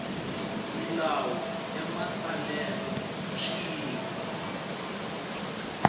milawu ya matsalelo hi xiyimo